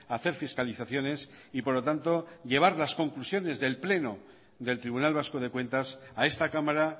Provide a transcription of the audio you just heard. hacer fiscalizaciones y por lo tanto llevar las conclusiones del pleno del tribunal vasco de cuentas a esta cámara